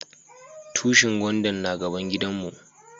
Tushin gwandan na gaban gidan mu.